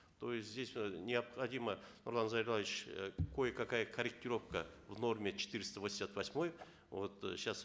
то есть здесь э необходима нурлан зайроллаевич э кое какая корректировка в норме четыреста восемьдесят восьмой вот э сейчас